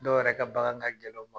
Dɔ yɛrɛ ka bagan ga gɛlɛn u ma.